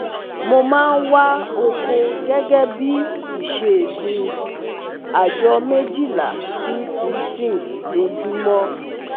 Mo ma n wa oko gege bi iṣẹ́ mi, ajọ mejila si sixteen lojumọ